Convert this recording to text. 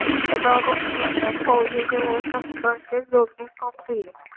सदा बक्षी यांना फौजेचे व शस्त्राचे जोडणी काम दिले.